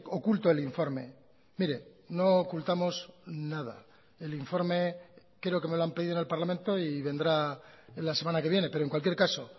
oculto el informe mire no ocultamos nada el informe creo que me lo han pedido en el parlamento y vendrá la semana que viene pero en cualquier caso